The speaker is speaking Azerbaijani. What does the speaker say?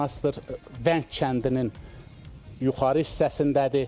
Monastır Vəng kəndinin yuxarı hissəsindədir.